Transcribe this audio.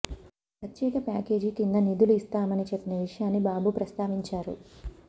ప్రత్యేక ప్యాకేజీ కింద నిధులు ఇస్తామని చెప్పిన విషయాన్ని బాబు ప్రస్తావించారు